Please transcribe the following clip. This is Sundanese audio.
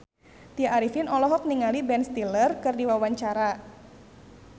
Tya Arifin olohok ningali Ben Stiller keur diwawancara